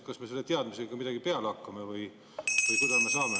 Kas me selle teadmisega ka midagi peale hakkame või kuidas?